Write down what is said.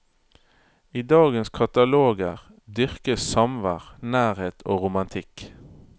I dagens kataloger dyrkes samvær, nærhet og romantikk.